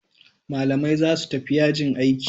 Malamai zasu tafi yajin aiki